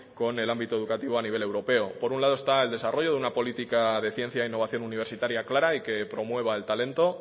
con el ámbito educativo a nivel europeo por un lado está el desarrollo de una política de ciencia e innovación universitaria clara y que promueva el talento